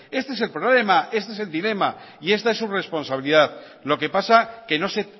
este es el problema este es el dilema y esta es su responsabilidad lo que pasa que no se